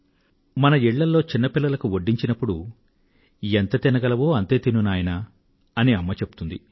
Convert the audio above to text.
మన ఇళ్ళల్లో చిన్న పిల్లలకు వడ్డించినప్పుడు ఎంత తినగలవో అంతే తిను నాయనా అని అమ్మ చెప్తుంది